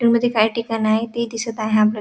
मध्ये काही ठिकाण आहे ती दिसत आहे आपल्याला --